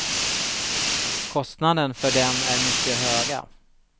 Kostnaden för dem är mycket höga.